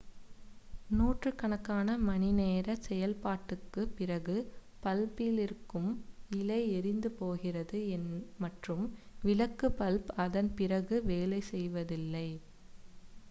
நூற்றுக்கணக்கான மணிநேர செயல்பாட்டிற்குப் பிறகு பல்பிலிருக்கும் இழை எரிந்து போகிறது மற்றும் விளக்கு பல்ப் அதன் பிறகு வேலை செய்வதில்லை